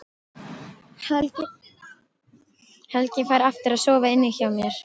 Helgi fær aftur að sofa inni hjá mér.